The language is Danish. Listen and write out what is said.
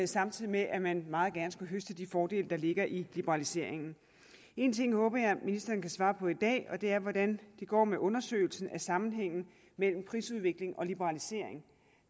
samtidig med at man meget gerne skulle høste de fordele der ligger i liberaliseringen en ting håber jeg ministeren kan svare på i dag og det er hvordan det går med undersøgelsen af sammenhængen mellem prisudvikling og liberalisering